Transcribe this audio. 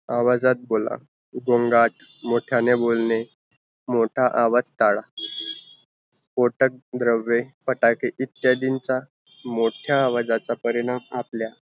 आवाजात बोला गोंगाट मोठ्याने बोलने मोटा आवाज़ टाळा, कोटक द्रव्वे फटाके इत्यादींचा मोठ्या आवाजाचा परिणाम आपल्या